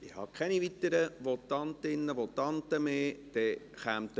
Ich habe keine weiteren Votantinnen und Votanten mehr auf der Liste.